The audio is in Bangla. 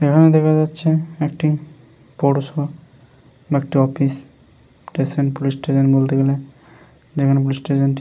এখানে দেখা যাচ্ছে একটি বড় সড়ো একটা অফিস স্টেশন পুলিশ স্টেশন বলতে গেলে যেখানে পুলিশ স্টেশনটি --